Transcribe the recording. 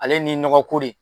Ale ni nɔgɔko de